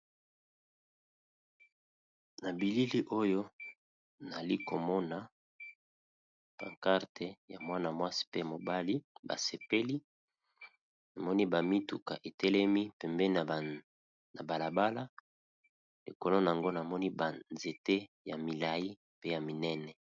na bilili oyo nalikomona bacarte ya mwana-mwasi pe mobali basepeli namoni bamituka etelemi pembe na balabala ekolo nango namoni banzete ya milai pe ya minene